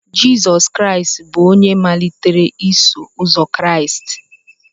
Jizọs Kraịst bụ onye malitere Iso Ụzọ Kraịst